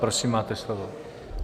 Prosím, máte slovo.